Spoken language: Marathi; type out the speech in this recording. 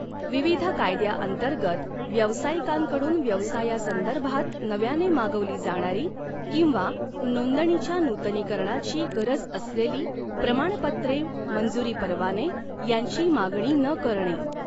विविध कायद्याअंतर्गत व्यवसायिकांकडून व्यवसायासंदर्भात नव्याने मागवली जाणारी किंवा नोंदणीच्या नूतनीकरणाची गरज असलेली प्रमाणपत्रे मंजूरी परवाने यांची मागणी न करणे